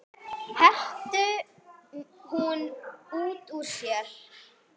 hreytti hún út úr sér.